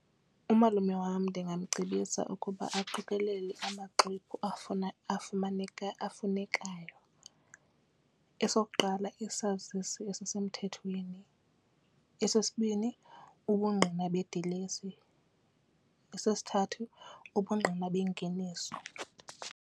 Umalume wam ndingamcebisa ukuba aqikelele amaxwebhu afumaneka afunekayo esokuqala isazisi esisemthethweni, esesibini ubungqina bedilesi, esesithathu ubungqina bengeniso.